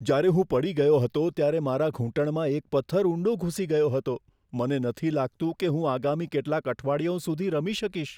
જ્યારે હું પડી ગયો હતો ત્યારે મારા ઘૂંટણમાં એક પથ્થર ઊંડો ઘુસી ગયો હતો. મને નથી લાગતું કે હું આગામી કેટલાંક અઠવાડિયાઓ સુધી રમી શકીશ.